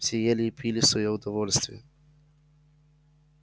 все ели и пили в своё удовольствие